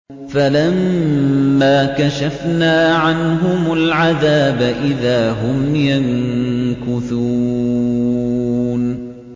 فَلَمَّا كَشَفْنَا عَنْهُمُ الْعَذَابَ إِذَا هُمْ يَنكُثُونَ